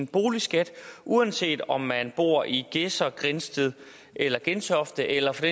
boligskatten uanset om man bor i gedser grindsted eller gentofte eller for